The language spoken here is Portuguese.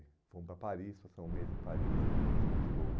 E fomos para Paris, passamos um mês em Paris e um mês em Lisboa.